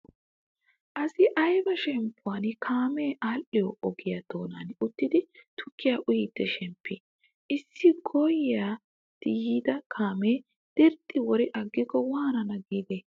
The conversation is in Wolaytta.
Asayi ayibaa shemppuwaan kaamee aadhdhiyoo ogiyaa doonan uttidi tukkiyaa uyiiddi shemppii. Issi gooyyiiddi yiida kaamee dirxxidi wori aggikko waanaana giidee.